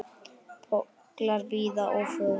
Pollar víða og for.